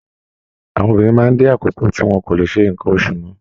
Àwọn obìnrin máa dé àkókò tí wọn kò lé sé nkán oṣù mọ.